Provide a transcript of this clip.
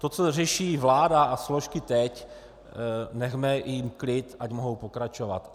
To, co řeší vláda a složky teď, nechme jim klid, ať mohou pokračovat.